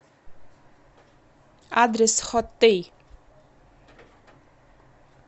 адрес хоттей